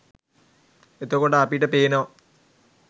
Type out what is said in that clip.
එතකොට අපිට පේනවා